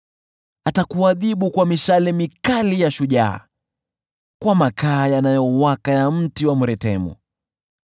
Atakuadhibu kwa mishale mikali ya shujaa, kwa makaa yanayowaka ya mti wa mretemu.